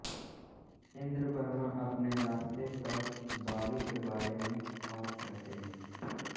इंद्रवर्मा अपने रास्ते पर बाली के बारे में और कहते हैं